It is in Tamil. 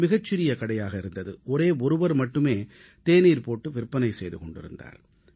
அது மிகச் சிறிய கடையாக இருந்தது ஒரே ஒருவர் மட்டும் அவரே தேநீர் தயாரித்து விற்பனை செய்து கொண்டிருந்தார்